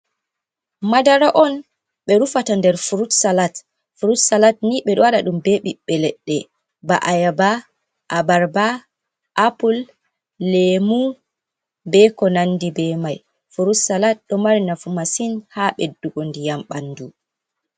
Madara on ɓe rufata nder frut salat, frut salat ni ɓe ɗo waɗa ɗum ɓe ɓiɓɓe leɗɗe ba'ayaba, abarba, apple, lemu be ko nandi be mai, frut salat ɗo mari nafu masin ha ɓeddugo ndiyam ɓandu.